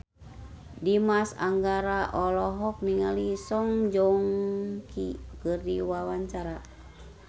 Dimas Anggara olohok ningali Song Joong Ki keur diwawancara